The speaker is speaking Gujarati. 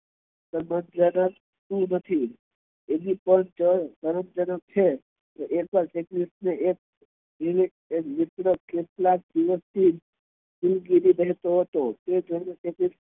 મિત્ર કેટલાક દિવસ થી દિલગીરી રેહતો હતો